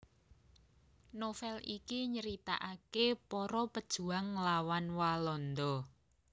Novel iki nyritaaké para pejuang nglawan Walanda